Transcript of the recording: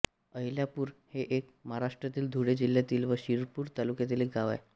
अहिल्यापूर हे एक महाराष्ट्रातील धुळे जिल्ह्यातील व शिरपूर तालुक्यातील गाव आहे